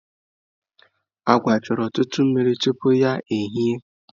Agwa chọrọ ọtụtụ mmiri tupu ya ehie.